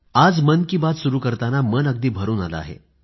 आज मन की बात सुरू करताना मन अगदी भरून आलं आहे